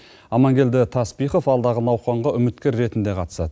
амангелді таспихов алдағы науқанға үміткер ретінде қатысады